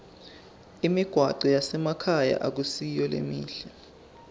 imigwaco yasemakhaya ayisiyo lemihle